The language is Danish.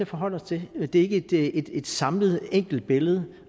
forholde os til det er ikke et samlet enkelt billede